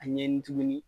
A ɲɛɲini tuguni